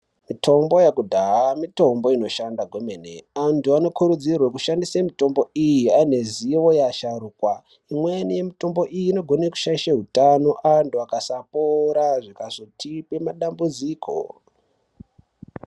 Mitombo yekudhaya mitombo inoshande kwemene, antu anokurudzirwa kushandise mitombo iyi aine zivo yeasharukwa .lmweni yemutombo iyi inokona kushaisha hutano kuantu akasapora zvikazotipa madambudziko.